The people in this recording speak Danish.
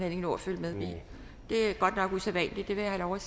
ikke nå at følge med i det er godt nok usædvanligt det vil jeg have